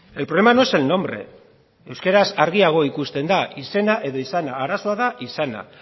el problema no es el nombre euskaraz argiago ikusten da izena edo izana arazoa da izana